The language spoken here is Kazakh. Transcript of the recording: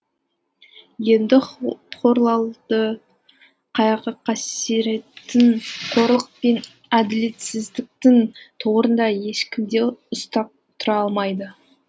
енді хорлалды қайғы қасіреттің қорлық пен әділетсіздіктің торында ешкім де ұстап тұра алмайды